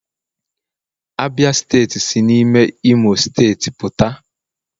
Abia steeti si n'ime imo steeti puta